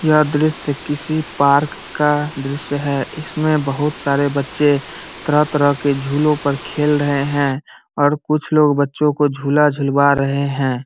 यह दृश्य किसी पार्क का दृश्य है इसमे बहुत सारे बच्चे तरह-तरह के झुलो पर खेल रहे हैं और कुछ लोग बच्चो को झूला-झूलवा रहे हैं।